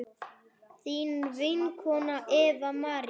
þín vinkona Eva María.